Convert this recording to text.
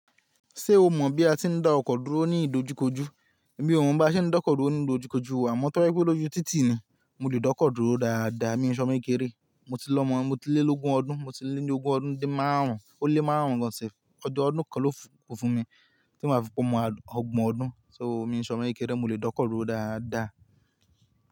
Ṣé o mọ̀ bí a ti ń dá ọkọ dúró ní ìdojúkojú? Èmi ò mọ̀ bí a ṣe ń dókò dúró ní ìdojúkojú, àmọ́ tó bá je pe oju títì ni mo le dókò dúró dáadáa. Mi n ṣe omo kékeré, mo ti lọ́ mọ̀, mo ti lé lógun ọdún, mo ti lé ní ogún ọdún din márùn-ún, ó lé márùn-ún gan self. Ọjọ́ ọdún kan ló ku fún mi tí maa fi pe ọgbọ̀n ọdún, so mi ò ṣe omo kékeré, mo lè dókò dúró dáadáa.